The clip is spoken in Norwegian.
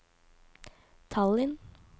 Tallinn